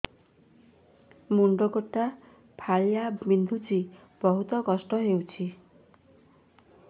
ମୁଣ୍ଡ ଗୋଟେ ଫାଳିଆ ବିନ୍ଧୁଚି ବହୁତ କଷ୍ଟ ହଉଚି